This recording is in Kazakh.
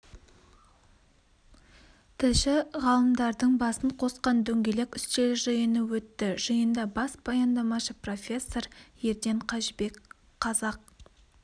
тілші ғалымдардың басын қосқан дөңгелек үстел жиыны өтті жиында бас баяндамашы профессор ерден қажыбек қазақ